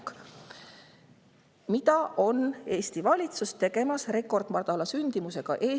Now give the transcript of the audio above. mis Eesti valitsusel rekordmadala sündimusega on.